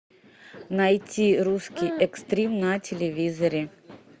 найти русский экстрим на телевизоре